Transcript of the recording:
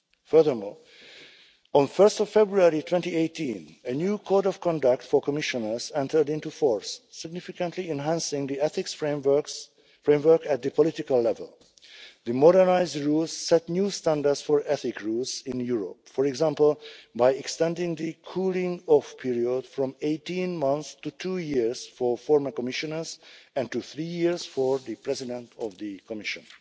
Furthermore, on 1 February 2018, a new Code of Conduct for Commissioners entered into force, significantly enhancing the ethics framework at the political level. The modernised rules set new standards for ethics rules in Europe, for example by extending the cooling-off period from 18 months to two years for former Commissioners and to three years for the President of the Commission.